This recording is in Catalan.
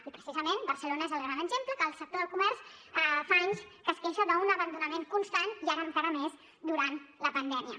i precisament barcelona és el gran exemple que el sector del comerç fa anys que es queixa d’un abandonament constant i ara encara més durant la pandèmia